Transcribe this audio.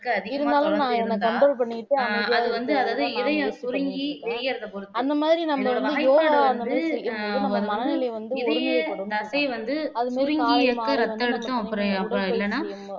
அதிகமா இருந்தா ஆஹ் அது வந்து அதாவது இதயம் சுருங்கி விரியறத போது இதய தசை வந்து சுருங்கி இருக்க ரத்த அழுத்தம் அப்புறம் அப்ப இல்லைன்னா